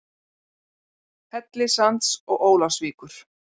Hellissands og Ólafsvíkur.